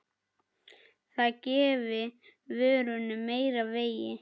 Það gefi vörunni meira vægi.